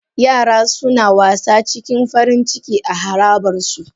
Yara suna wasa cikin farinciki a hara barsu.